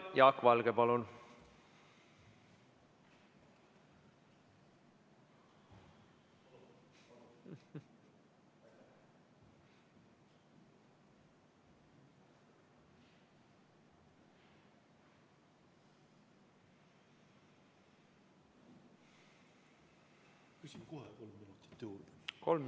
Jah, aitäh!